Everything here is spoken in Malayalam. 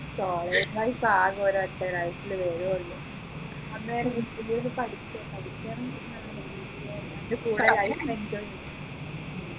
college life ആകെ ഒരൊറ്റ ഒരാഴ്ചയിൽ വരുഎ ഉള്ളു അന്നേരം miss ന്റെ കൈയ്യിന്ന് പഠിക്ക പഠിക്ക അതിൻെറ കൂടെ life enjoy ചെയ്യാ